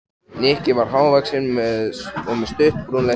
Nikki var há- vaxinn og með stutt, brúnleitt hár.